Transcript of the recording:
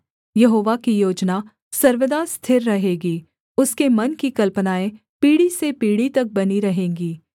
यहोवा की योजना सर्वदा स्थिर रहेगी उसके मन की कल्पनाएँ पीढ़ी से पीढ़ी तक बनी रहेंगी